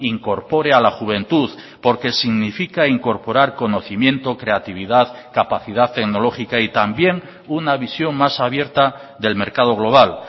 incorpore a la juventud porque significa incorporar conocimiento creatividad capacidad tecnológica y también una visión más abierta del mercado global